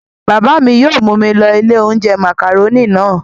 Bàbá mi yóò mú mi lọ ilé-oúnjẹ màkàrónì náà.